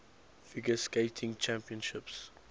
figure skating championships